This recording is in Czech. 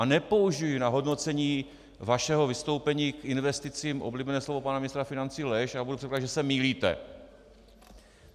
A nepoužiji na hodnocení vašeho vystoupení k investicím oblíbené slovo pana ministra financí lež, ale budu předpokládat, že se mýlíte.